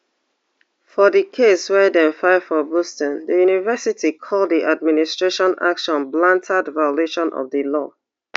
for di case wey dem file for boston di university call di administration actions blatant violation of di law